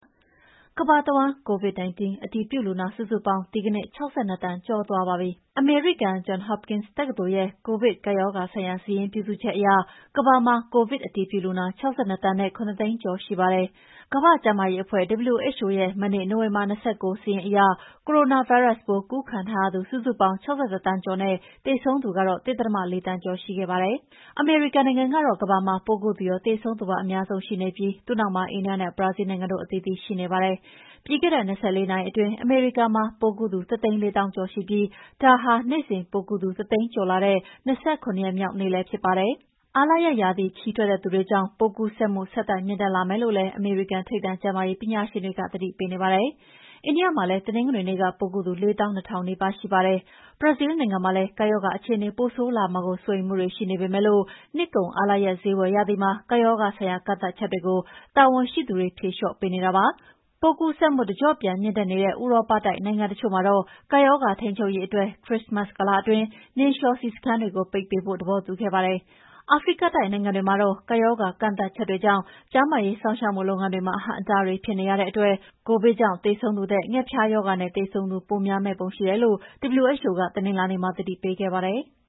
ကမ္ဘာတဝှမ်း COVID-19 အတည်ပြုလူနာ စုစုပေါင်း ဒီနေ့ ၆၂ သန်းကျော်သွားပါပြီ၊ အမေရိကန် John Hopkins တက္ကသိုလ်ရဲ့ ကိုဗစ်ကပ်ရောဂါဆိုင်ရာ စာရင်းပြုစုချက်အရ ကမ္ဘာမှာ ကိုဗစ်အတည်ပြုလူနာ ၆၂ သန်းနဲ့ ၇၀၀,၀၀၀ ကျော်ရှိပါတယ်။ ကမ္ဘာ့ကျန်းမာရေးအဖွဲ့ WHO ကလည်း ရဲ့ မနေ့ နိုဝင်ဘာ ၂၉ ရက် စာရင်းအရ ကိုရိုနာဗိုင်းရပ်စ်ပိုး ကူးခံထားရသူစုစုပေါင်း ၆၁ သန်းကျော်နဲ့ သေဆုံးသူက ၁.၄ သန်းကျော်ရှိခဲ့ပါတယ်။ အမေရိကန်နိုင်ငံကတော့ ကမ္ဘာမှာ ပိုးကူးသူရော၊ သေဆုံးသူပါ အများဆုံးရှိနေပြီး သူ့နောက်မှာ အိန္ဒိယနဲ့ ဘရာဇီလ်းနိုင်ငံတို့အသီးသီး ရှိနေပါတယ်။ ပြီးခဲ့တဲ့ ၂၄ နာရီအတွင်းအမေရိကန်မှာပိုးကူးသူ ၁၄၀,၀၀၀ ကျော်ရှိပြီး ဒါဟာ နေ့စဉ်ပိုးကူးသူ ၁၀၀,၀၀၀ ကျော်လာတာတဲ့ ၂၇ ရက်မြောက်နေ့လည်းဖြစ်ပါတယ်။ အားလပ်ရက်ရာသီ ခရီးထွက်တဲ့သူတွေကြောင့် ပိုးကူးစက်မှု ဆက်တိုက်မြင့်တက်လာမယ်လို့လည်း အမေရိကန်ထိပ်တန်း ကျန်းမာရေးပညာရှင်တွေက သတိပေးနေပါတယ်။ အိန္ဒိယမှာလည်း တနင်္ဂနွေနေ့ကပိုးကူးသူ ၄၂,၀၀၀ နီးပါးရှိပါတယ်။ ဘရာဇီလ်းနိုင်ငံမှာလည်း ကပ်ရောဂါအခြေအနေ ပိုဆိုးလာမှာကို စိုးရိမ်မှုတွေရှိနေပေမဲ့ နှစ်ကုန် အားလပ်ရက်ဈေးဝယ်ရာသီမှာ ကပ်ရောဂါဆိုင်ရာ ကန့်သတ်ချက်တွေကို တာဝန်ရှိသူတွေဖြေလေ ျှာ့ပေးနေတာပါ။ ပိုးကူးစက်မှုတကျော့ပြန်မြင့်တက်နေတဲ့ ဥရောပတိုက်နိုင်ငံ တချို့မှာတော့ ကပ်ရောဂါထိန်းချုပ်ရေးအတွက် ခရစ်စမတ်ကာလအတွင်း နှင်းလေ ျှာစီးစခန်းတွေကို ပိတ်ထားဖို့ သဘောတူခဲ့ကြပါတယ်။ အာဖရိကတိုက်နိုင်ငံတွေမှာတော့ ကပ်ရောဂါကန့်သတ်ချက်တွေကြောင့် ကျန်းမာရေးစောင့်ရှောက်မှုလုပ်ငန်းတွေမှာ အဟန့်အတားတွေဖြစ်နေရတဲ့ ကိုဗစ်ကြောင့်သေဆုံးသူထက် ဌက်ဖျားရောဂါနဲ့ သေဆုံးသူပိုများမယ့်ပုံ ရှိတယ်လို့ WHO က တနင်္လာနေ့မှာ သတိပေးခဲ့ပါတယ်။